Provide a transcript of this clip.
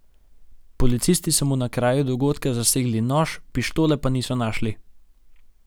Policisti so mu na kraju dogodka zasegli nož, pištole pa niso našli.